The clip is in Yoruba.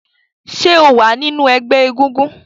ṣe o wá nínú egbé egúngún?